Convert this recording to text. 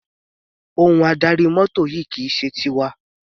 Ohun adarí mọ́tò yìí kì í ṣe tiwa.